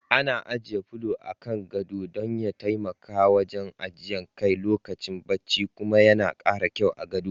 Ana ajiye polo a kan gado dan ya taimaka wajen ajiye kai lokacin bacci kuma yana karawa gado kyau.